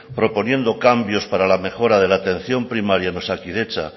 proponiendo cambios para la mejora de la atención primaria en osakidetza